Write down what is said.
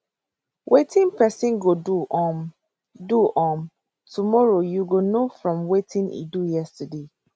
wetin pesin go do um do um tomorrow you go know from wetin e do yesterday